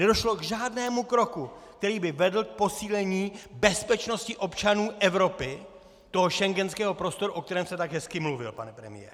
Nedošlo k žádnému kroku, který by vedl k posílení bezpečnosti občanů Evropy, toho schengenského prostoru, o kterém jste tak hezky mluvil, pane premiére.